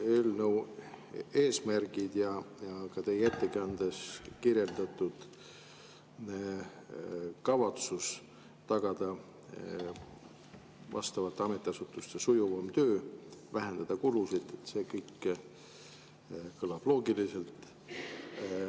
Eelnõu eesmärgid ja ka teie ettekandes kirjeldatud kavatsus tagada vastavate ametiasutuste sujuvam töö, vähendada kulusid – see kõik kõlab loogiliselt.